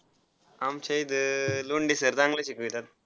आमच्या इथ लोंढे sir चांगला शिकवतात.